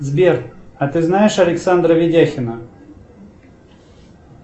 сбер а ты знаешь александра ведяхина